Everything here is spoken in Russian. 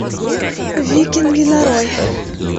викинги нарой